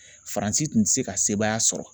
Faransi tun tɛ se ka sebaaya sɔrɔ